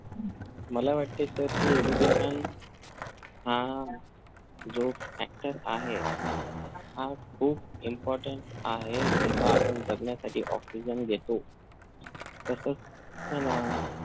मला वाटतंय sir कि education हा जो factor आहे हा खूप important आहे. जस आपण जगण्यासाठी oxygen घेतो तसच आहे ना